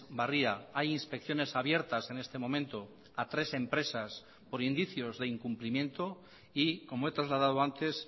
barria hay inspecciones abiertas en este momento a tres empresas por indicios de incumplimiento y como he trasladado antes